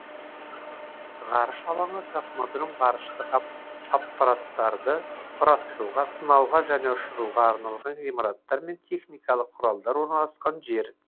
ғарыш алаңы космодром ғарыштық аппараттарды құрастыруға сынауға және ұшыруға арналған ғимараттар мен техникалық құралдар орналасқан жер